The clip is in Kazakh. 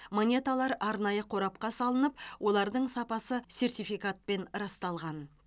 монеталар арнайы қорапқа салынып олардың сапасы сертификатпен расталған